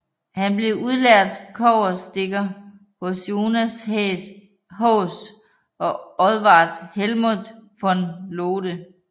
Han blev udlært kobberstikker hos Jonas Haas og Odvardt Helmoldt von Lode